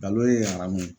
Balo ye aramu ye